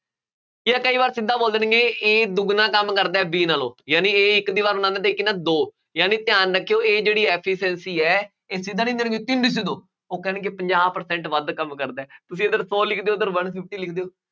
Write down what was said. ਜਾਂ ਕਈ ਵਾਰ ਸਿੱਧਾ ਬੋਲਣਗੇ, A ਦੁੱਗਣਾ ਕੰਮ ਕਰਦਾ ਹੈ B ਨਾਲੋਂ, ਯਾਨੀ A ਇੱਕ ਦੀਵਾਰ ਬਣਾਉਂਦਾ, ਤਾਂ ਇਹ ਕਿੰਨਾ ਦੋ, ਯਾਨੀ ਧਿਆਨ ਰੱਖਿਉ ਇਹ ਜਿਹੜੀ efficiency ਹੈ ਉਹ ਕਹਿਣਗੇ ਪੰਜਾਹ percent ਵੱਧ ਕੰਮ ਕਰਦਾ, ਤੁਸੀਂ ਇੱਧਰ ਸੋ ਲਿਖ ਦਿਉ ਉੱਧਰ ਬਣ ਜੂ ਕੀ ਲਿਖਦੇ ਹੋ।